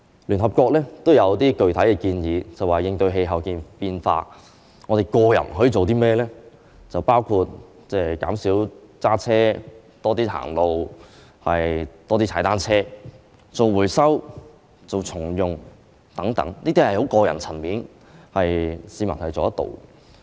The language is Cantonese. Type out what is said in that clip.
聯合國也提出了一些具體建議，就是有關應對氣候變化，我們每個人可以做的事，包括減少駕車、多走路、多踏單車、多做回收、重用物件等，這些都屬於個人層面的行動，是市民能夠做到的。